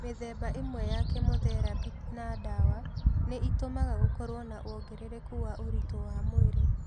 Mĩthemba ĩmwe ya kemotherapĩ na ndawa nĩ itũmaga gũkorũo na wongerereku wa ũrĩtũ wa mwĩrĩ.